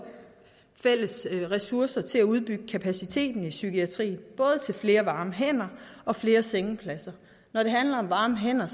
fælles ressourcer til udbygning af kapaciteten i psykiatrien til flere varme hænder og flere sengepladser når det handler om varme hænder